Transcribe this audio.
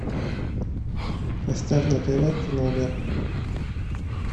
поставь на тв тномер